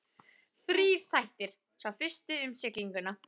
Þrír þættir, sá fyrsti um siglinguna.